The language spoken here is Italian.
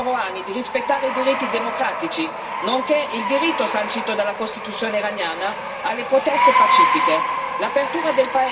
Chiediamo al governo Rohani di rispettare i diritti democratici nonché il diritto sancito dalla Costituzione iraniana alle proteste pacifiche.